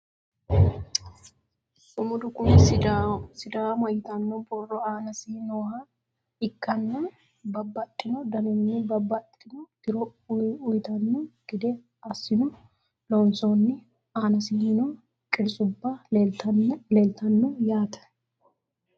sumudu kuni sidaama yitanno borro aanasi nooha ikkanna, babbaxino daninni babbaxitino tiro uyiitanno gede assino loonsoonni aanasino qirtsubba leeltanno yaate.